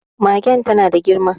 Magen ta na da girma.